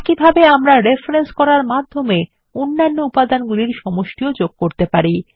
একইভাবে আমরা রেফরেন্স করার মাধ্যমে অন্য উপাদানগুলির সমষ্টি ও যোগ করতে পারি